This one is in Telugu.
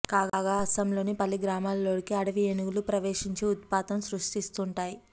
కాగా అసోంలోని పలు గ్రామాలలోకి అటవీ ఏనుగులు ప్రవేశించి ఉత్పాతం సృష్టిస్తుంటాయి